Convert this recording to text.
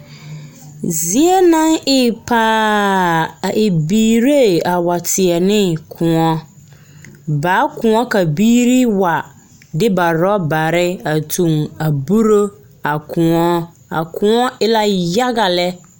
Biiiri banaare la ɔnnɔ kõɔ, kaŋ vɔgele zupili, ka kaŋ su kpare nuŋmaara ka o wa ŋa dɔre a kyɛ seɛ kuree ka o e bompelaa. Ka kaŋ meŋ su suwɛɛta ka o taa zupil kyɛ seɛ kuri ŋmaa ka o, ka o e sɔgelaa.